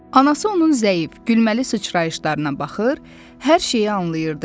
Anası onun zəif, gülməli sıçrayışlarına baxır, hər şeyi anlayırdı.